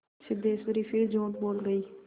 सिद्धेश्वरी फिर झूठ बोल गई